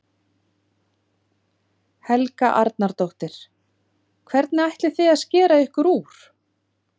Helga Arnardóttir: Hvernig ætlið þið að skera ykkur úr?